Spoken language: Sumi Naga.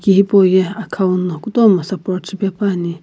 ki hipauye akhau no kutomo support shipe quipuani.